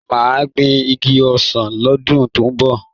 Mà á gbin igi ọsàn lọ́dún tó ń bọ̀